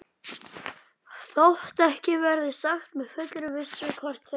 Þótt ekki verði sagt með fullri vissu, hvort þeir